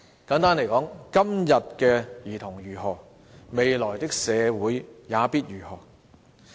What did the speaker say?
簡單來說，今天的兒童如何，未來的社會也必如何。